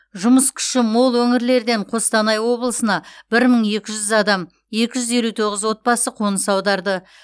жұмыс күші мол өңірлерден қостанай облысына бір мың екі жүз адам екі жүз елу тоғыз отбасы қоныс аударды